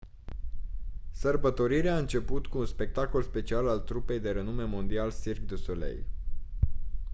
sărbătorirea a început cu un spectacol special al trupei de renume mondial cirque du soleil